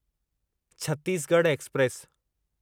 Chhattisgarh express